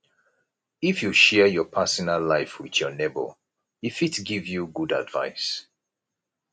if you share your personal life wit your nebor e fit give you good advice